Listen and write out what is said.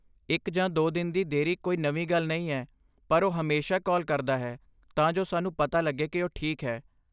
ਇੱਕ ਜਾਂ ਦੋ ਦਿਨ ਦੀ ਦੇਰੀ ਕੋਈ ਨਵੀਂ ਗੱਲ ਨਹੀਂ ਹੈ, ਪਰ ਉਹ ਹਮੇਸ਼ਾ ਕਾਲ ਕਰਦਾ ਹੈ ਤਾਂ ਜੋ ਸਾਨੂੰ ਪਤਾ ਲੱਗੇ ਕਿ ਉਹ ਠੀਕ ਹੈ।